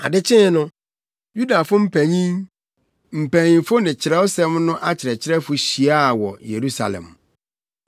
Ade kyee no, Yudafo mpanyin, mpanyimfo ne Kyerɛwsɛm no akyerɛkyerɛfo hyiaa wɔ Yerusalem.